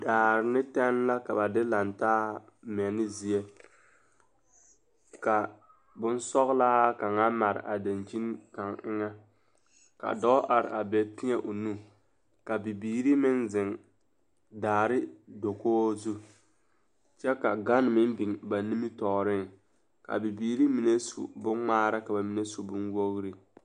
Daare ne tɛne la ka ba de laŋ taa mɛne zie ka bonsɔglaa kaŋ mare a dankyini kaŋ eŋɛ ka dɔɔ are a be teɛ o nu ka bibiiri meŋ zeŋ daare dakogi zu kyɛ ka gane meŋ biŋ ba nimitɔɔreŋ k,a bibiiri mine su bonŋmaara ka ba mine su bonwogri.